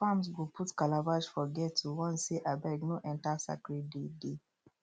farms go put calabash for gate to warn say abeg no enter sacred day dey